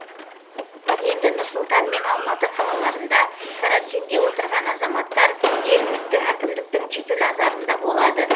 енді нұр сұлтан мен алматы қалаларында карантинде отырған азаматтар жергілікті әкімдіктің жіті назарында болады